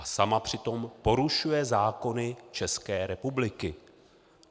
A sama přitom porušuje zákony České republiky.